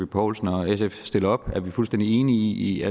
poulsen og sf stiller op er vi fuldstændig enige i